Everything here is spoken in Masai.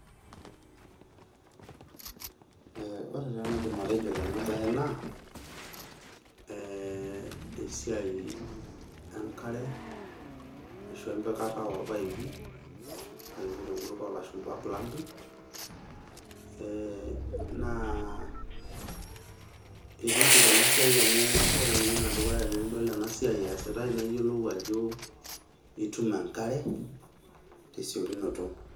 Eh ore taa enaidim atejo tenabae naa, esiai enkare, ashu empikata orpaipi, na keji tenkutuk olashumpa plumbing, naa itiship enasiai amu ore ninye enedukuya tenidol enasiai eesitai nayiolou ajo itum enkare, tesiokinoto.